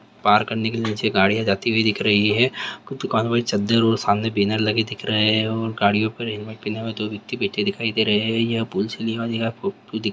पार करने के लिए नीचे गाड़ियां जाती हुई दिख रही है दुकान वाली चद्दर और सामने बैनर लगे दिख रहे हैं और गाड़ियों पर दो व्यक्ति बैठे हुए दिख रहे है। ]